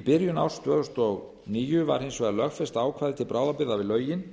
í byrjun árs tvö þúsund og níu var hins vegar lögfest ákvæði til bráðabirgða við lögin